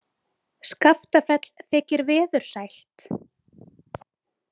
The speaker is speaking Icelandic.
Skaftafell þykir veðursælt.